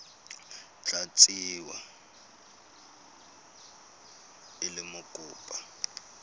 tla tsewa e le mokopa